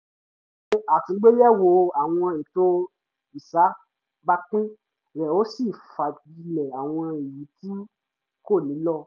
ó ṣe àtúngbéyẹ̀wo àwọn ètò ìṣàbápìn rẹ̀ ó sì fagilé àwọn èyí tí kò nílò